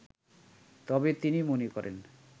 তবে তিনি মনে করেন